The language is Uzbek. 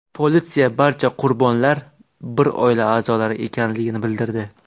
Politsiya barcha qurbonlar bir oila a’zolari ekanligini bildirdi.